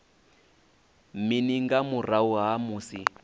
mini nga murahu ha musi